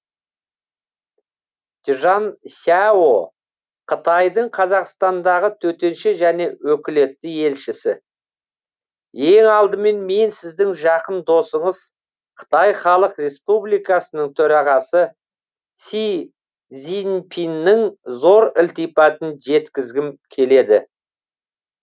чжан сяо қытайдың қазақстандағы төтенше және өкілетті елшісі ең алдымен мен сіздің жақын досыңыз қытай халық республикасының төрағасы си цзиньпиннің зор ілтипатын жеткізгім келеді